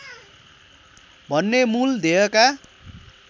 भन्ने मूल ध्येयका